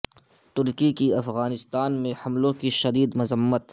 ترکی کی افغانستان میں حملوں کی شدید مذمت